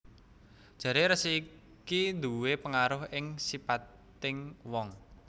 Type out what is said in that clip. Jaré rasi iki nduwé pengaruh ing sipating wong